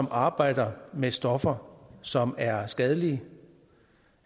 arbejder med stoffer som er skadelige